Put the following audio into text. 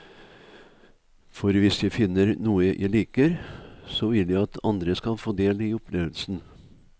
For hvis jeg finner noe jeg liker, så vil jeg at andre skal få ta del i opplevelsen.